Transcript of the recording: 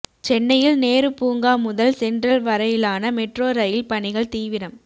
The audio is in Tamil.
சென்னையில் நேரு பூங்கா முதல் சென்ரல் வரையிலான மெட்ரோ ரயில் பணிகள் தீவிரம்